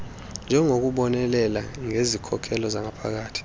yokubonelela ngezikhokelo zangaphakathi